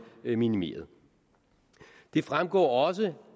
minimeret det fremgår også